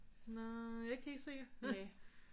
Nej ikke helt sikker